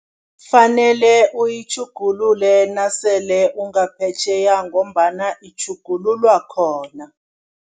Fanele uyitjhugulule nasele ungaphetjheya ngombana itjhugululwa khona.